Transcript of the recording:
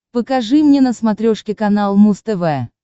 покажи мне на смотрешке канал муз тв